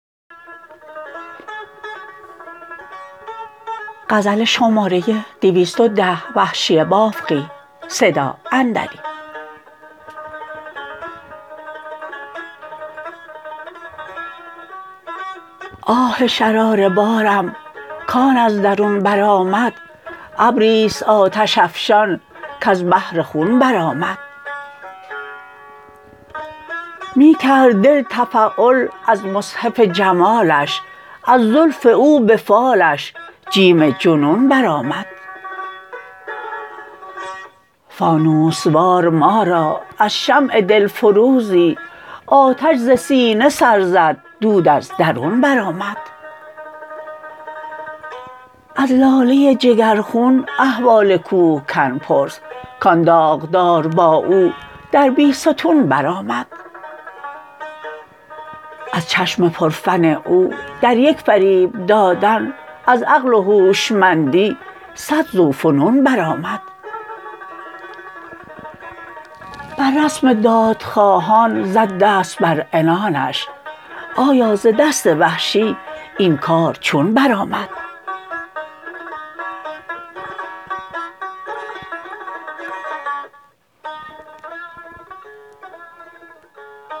آه شراره بارم کان از درون برآمد ابریست آتش افشان کز بحر خون برآمد می کرد دل تفأل از مصحف جمالش از زلف او به فالش جیم جنون برآمد فانوس وار ما را از شمع دل فروزی آتش ز سینه سر زد دود از درون برآمد از لاله جگر خون احوال کوهکن پرس کان داغدار با او در بیستون برآمد از چشم پر فن او در یک فریب دادن از عقل و هوشمندی سد ذوفنون بر آمد بر رسم داد خواهان زد دست بر عنانش آیا ز دست وحشی این کار چون برآمد